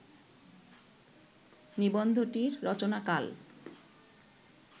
নিবন্ধটির রচনাকাল